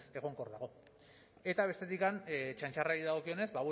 ez egonkor dago eta bestetik txantxarrari dagokionez